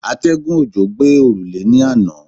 Atẹ́gùn òjò gbé òrùlé ní àná.